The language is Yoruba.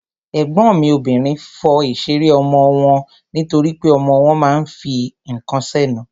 Ègbọ́n mi obìnrin fọ ìṣeré ọmọ wọn nítorípé ọmọ wọn ma ń fi ǹkan sẹ́nu.